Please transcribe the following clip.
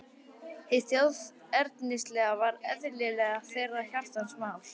Hið þjóðernislega var eðlilega þeirra hjartans mál.